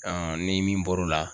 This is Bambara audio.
ni min bɔr'o la